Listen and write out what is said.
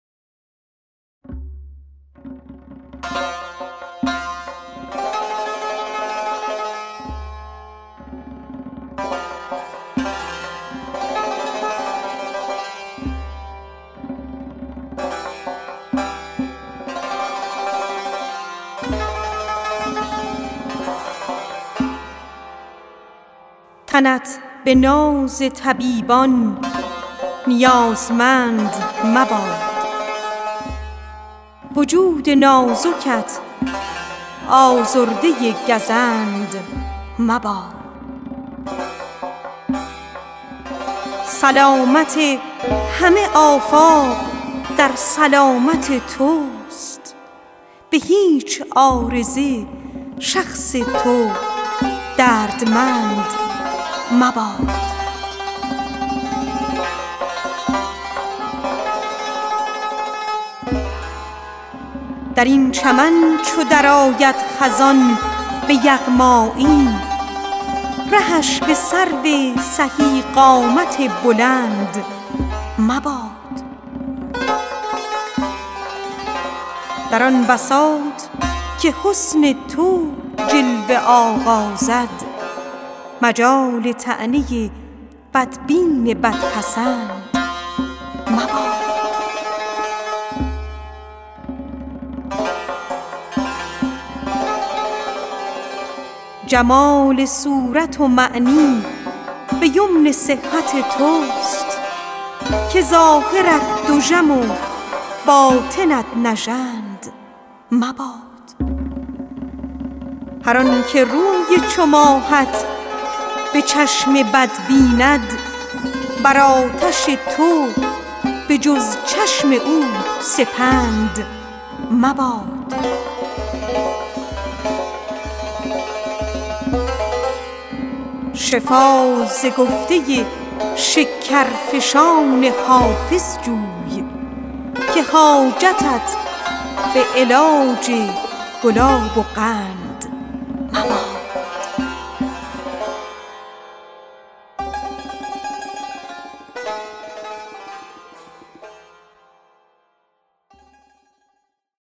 تنت به ناز طبیبان نیازمند مباد وجود نازکت آزرده گزند مباد سلامت همه آفاق در سلامت توست به هیچ عارضه شخص تو دردمند مباد جمال صورت و معنی ز امن صحت توست که ظاهرت دژم و باطنت نژند مباد در این چمن چو درآید خزان به یغمایی رهش به سرو سهی قامت بلند مباد در آن بساط که حسن تو جلوه آغازد مجال طعنه بدبین و بدپسند مباد هر آن که روی چو ماهت به چشم بد بیند بر آتش تو به جز جان او سپند مباد شفا ز گفته شکرفشان حافظ جوی که حاجتت به علاج گلاب و قند مباد